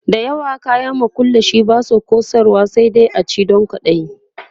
da yawan kayan makullashe Basu kosarwa sai dai a ci Dan kwaɗayi